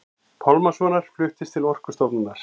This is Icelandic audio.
Pálmasonar fluttist til Orkustofnunar.